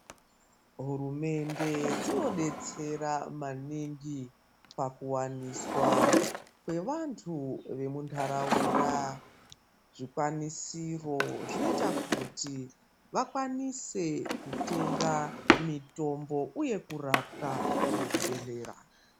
Hurumende dzinodetsera maningi pakuwaniswa kwevantu vemundaraunda zvikwanisiro zvinoita kuti vakwanise kutenga mutombo uye kurapwa muzvibhedhlera.